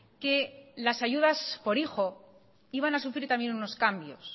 que las ayudas por hijo iban a sufrir también unos cambios